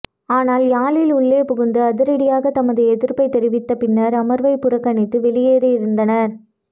ஆனால் யாழில் உள்ளே புகுந்து அதிரடியாக தமது எதிர்ப்பை தெரிவித்த பின்னர் அமர்வை புறக்கணித்து வெளியேறியிருந்தனர்